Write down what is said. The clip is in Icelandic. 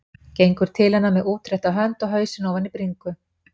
Gengur til hennar með útrétta hönd og hausinn ofan í bringu.